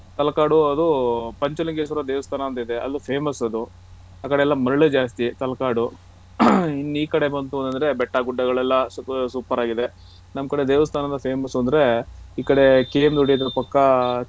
ತಲಕಾಡು ಅದು ಪಂಚಲಿಂಗೇಶ್ವರ ದೇವಸ್ತಾನ ಅಂತ ಇದೆ ಅಲ್ಲಿ famous ಅದು ಆ ಕಡೆ ಎಲ್ಲ ಮರಳೆ ಜಾಸ್ತಿ ತಲಕಾಡು ಇನ್ನೂ ಈ ಕಡೆ ಬಂತು ಅಂದ್ರೆ ಬೆಟ್ಟಾ ಗುಡ್ಡಗಳೆಲ್ಲಾ super ಆಗಿದೆ ನಮ್ ಕಡೆ ದೇವಸ್ತಾನದಲ್ಲಿ famous ಅಂದ್ರೆ ಈ ಕಡೆ KM ದೊಡ್ಡಿ ಪಕ್ಕ